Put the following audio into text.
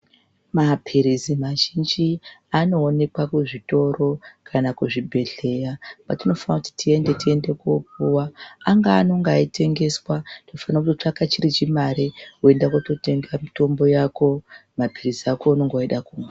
Maphirizi mazhinji anoonekwa kuzvitoro kana kuzvibhedhlera kwatinofanira kuti tiende, tiende kopuwa angaa anonga eitengeswa tinofanira kutotsvaka chiri chimare woenda kototenga mitombo wako maphirizi ako aunenge weida kumwa.